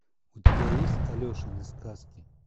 у тебя есть алешины сказки